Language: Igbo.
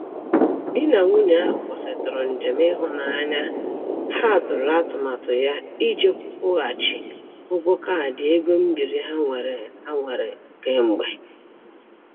Di na nwunye ahụ kwụsịtụrụ njem ịhụnanya ha tụrụ atụmatụ ya iji kwụghachi ụgwọ kaadị ego mbiri ha nwere ha nwere kemgbe.